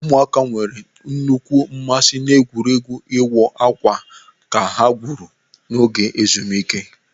Ụmụaka nwere nnukwu mmasị n'egwuregwu ịwọ akwa ha gwuru n'oge ezumike.